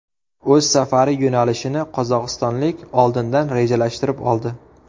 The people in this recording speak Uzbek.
O‘z safari yo‘nalishini qozog‘istonlik oldindan rejalashtirib oldi.